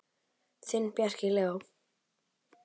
Þinn, Bjarki Leó.